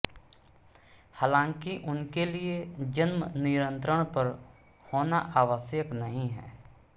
हालांकि उनके लिए जन्म नियंत्रण पर होना आवश्यक नहीं है